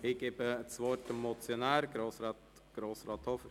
Der Motionär hat das Wort.